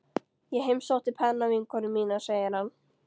Ég heimsótti pennavinkonu mína, segir hann.